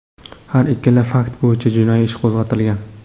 Har ikkala fakt bo‘yicha jinoiy ish qo‘zg‘atilgan.